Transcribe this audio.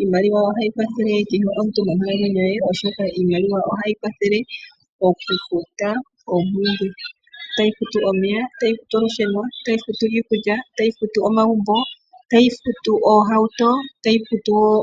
Iimaliwa ohayi kwathele omuntu monkalamwenyo ye oshoka iimaliwa ohayi kwathele okufuta, otayi futu omeya, iikulya oohauto,